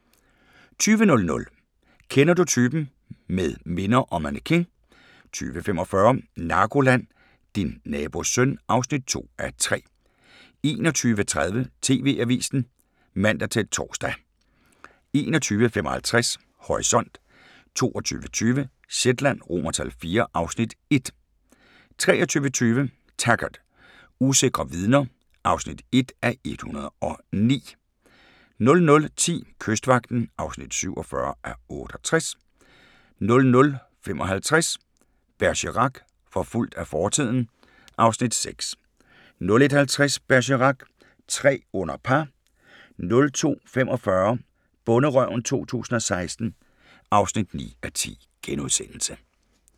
20:00: Kender du typen? – Med minder og mannequin 20:45: Narkoland - Din nabos søn (2:3) 21:30: TV-avisen (man-tor) 21:55: Horisont 22:20: Shetland IV (Afs. 1) 23:20: Taggart: Usikre vidner (1:109) 00:10: Kystvagten (47:68) 00:55: Bergerac: Forfulgt af fortiden (Afs. 6) 01:50: Bergerac: Tre under par 02:45: Bonderøven 2016 (9:10)*